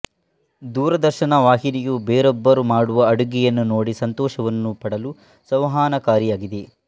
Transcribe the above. ದೂರದರ್ಶನ ವಾಹಿನಿಯು ಬೇರೊಬ್ಬರು ಮಾಡುವ ಅಡುಗೆಯನ್ನು ನೋಡಿ ಸಂತೋಷವನ್ನು ಪಡಲುಸಂವಹನಕಾರಿಯಾಗಿದೆ